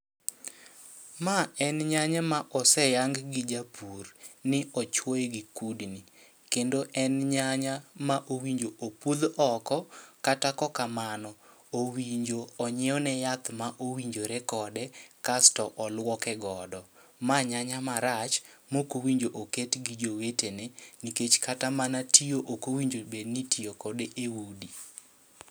Ma en nyanya ma oseyang gi japur ni ochwoye gi kudni, kendo en nyanya ma owinjo opudh oko. Kata kokamano, owinjo onyiewne yath ma owinjore kode kasto olwoke godo. Ma nyanya marach, mokowinjo oket gi jowetene. Nikech kata mana tiyo okowinjo bedni itiyo kode e udi.